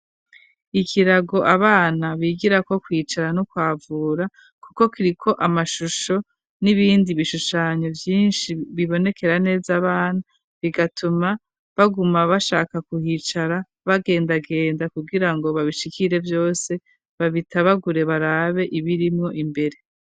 Ikirago, abana bigirako, kwicara no kwavura, kuko kiriko, amashusho, n'ibindi bishushanyo, vyinshi, bibonekera neza abana, bigatuma, baguma bashaka kuhicara, bagendagenda, kugira ngo, babishikire vyose, babitabagure, barabe ibirimwo, imbere.